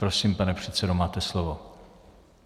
Prosím, pane předsedo, máte slovo.